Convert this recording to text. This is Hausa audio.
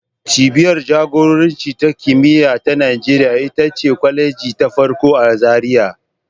Cibiyar jagoranci da kimiyya ta Najeriya ita ce kwaleji ta farko a Zariya